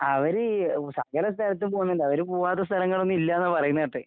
അവര് ഉ സകല സ്ഥലത്തും പോക്ന്ന്ണ്ട്. അവര് പൂവാത്ത സ്ഥലങ്ങളൊന്നും ഇല്യാന്നാ പറയുന്ന കേട്ടെ.